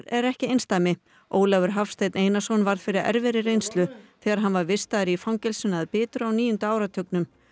er ekki einsdæmi Ólafur Hafsteinn Einarsson varð fyrir erfiðri reynslu þegar hann var vistaður í fangelsinu að Bitru á níunda áratugnum